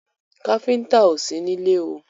Káfíńńtà ò sí nílé o.